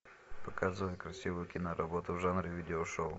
показывай красивую киноработу в жанре видеошоу